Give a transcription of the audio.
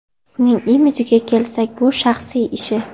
Uning imijiga kelsak, bu shaxsiy ishi.